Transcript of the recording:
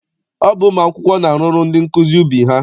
Ọ bụ ụmụ akwụkwọ na-arụrụ ndị nkụzi ubi ha.